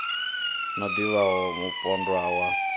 no ḓi vhaho mupondwa wa